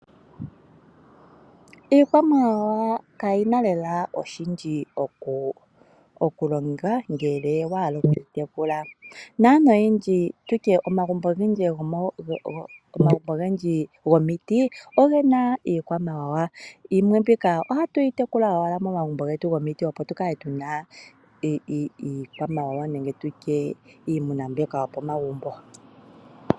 Iikwamawawa kayina lela oshindji oku longa ngele wahala okuyi tekula . Naantu oyendji tutye omagumbo ogendji gomiti ogena iikwamawawa. Yimwe mbika ohatuyi tekula owala momagumbo getu gomiti tukale tuna iikwamawawa nenge tutye iimuna mbyoka yopo magumbo.